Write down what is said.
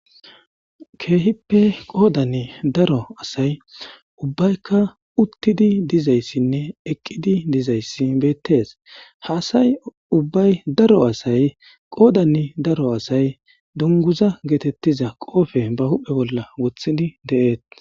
keehippe qoodan daro asay ubbaykka uttidi dizayssinne eqqidi dizayssi beettes haasay ubbay daro asay qoodani daro asay dunguza geetettiza qoofe ba huphe bolla wothidi de7eet